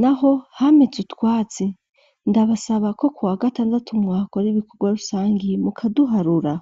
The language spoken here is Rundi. naho hameze utwatsi ndabasaba ko ku wa gatandatu mwahakora ibikorwa rusangi mukaduharura.